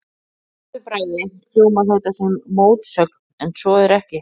Í fljótu bragði hljómar þetta sem mótsögn en svo er ekki.